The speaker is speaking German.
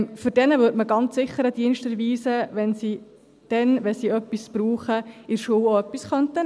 » Diesen würde man ganz sicher einen Dienst erweisen, wenn sie dann, wenn sie etwas brauchen, in der Schule auch etwas nehmen könnten.